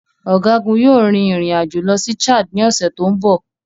Ọ̀gágun yóò rin ìrìn àjò lọ sí Chad ní ọ̀sẹ̀ tó ń bọ̀.